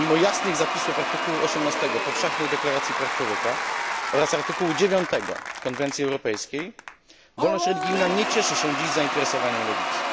Mimo jasnych zapisów artykułu 18 Powszechnej Deklaracji Praw Człowieka oraz artykułu 9 Konwencji Europejskiej wolność religijna nie cieszy się dziś zainteresowaniem lewicy.